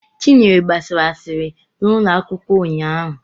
Chinyere gbasara asịrị n'ụlọ akwụkwọ ụnyahụ.